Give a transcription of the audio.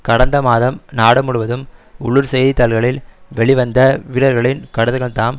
கடந்த மாதம் நாடு முழுவதும் உள்ளூர் செய்தி தாள்களில் வெளிவந்த வீரர்களின் கடிதங்கள்தாம்